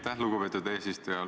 Aitäh, lugupeetud eesistuja!